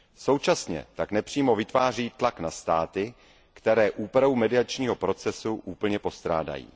Současně tak nepřímo vytváří tlak na státy, které úpravu mediačního procesu úplně postrádají.